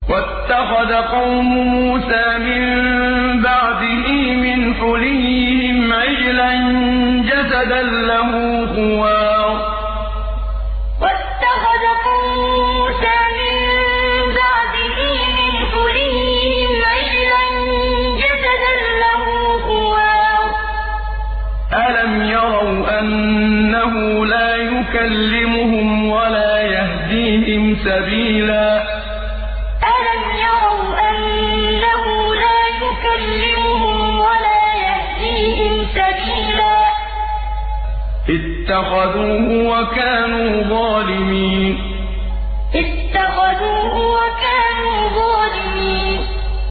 وَاتَّخَذَ قَوْمُ مُوسَىٰ مِن بَعْدِهِ مِنْ حُلِيِّهِمْ عِجْلًا جَسَدًا لَّهُ خُوَارٌ ۚ أَلَمْ يَرَوْا أَنَّهُ لَا يُكَلِّمُهُمْ وَلَا يَهْدِيهِمْ سَبِيلًا ۘ اتَّخَذُوهُ وَكَانُوا ظَالِمِينَ وَاتَّخَذَ قَوْمُ مُوسَىٰ مِن بَعْدِهِ مِنْ حُلِيِّهِمْ عِجْلًا جَسَدًا لَّهُ خُوَارٌ ۚ أَلَمْ يَرَوْا أَنَّهُ لَا يُكَلِّمُهُمْ وَلَا يَهْدِيهِمْ سَبِيلًا ۘ اتَّخَذُوهُ وَكَانُوا ظَالِمِينَ